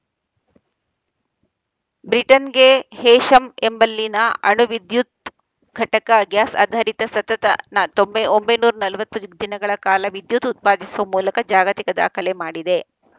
ಬ್ರಿಟನ್‌ಗೆ Heysham ಎಂಬಲ್ಲಿನ ಅಣು ವಿದ್ಯುತ್‌ ಘಟಕ ಗ್ಯಾಸ್‌ ಆಧಾರಿತ ಸತತ ನ ತೊ ಒಂಬೈನೂರ ನಲವತ್ತು ದಿನಗಳ ಕಾಲ ವಿದ್ಯುತ್‌ ಉತ್ಪಾದಿಸುವ ಮೂಲಕ ಜಾಗತಿಕ ದಾಖಲೆ ಮಾಡಿದೆ